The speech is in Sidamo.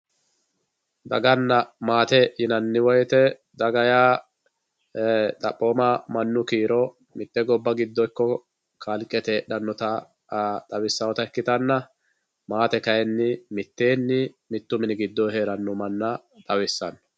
daganna maate yinanni woyiite daga yaa xaphooma mannu kiiro mitte gobba giddo ikko kalqete heedhanota xawisaoota ikkitanna maate kayiini miteenni mittu mini gidoo heeranno manna xawissanno.